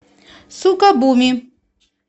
сукабуми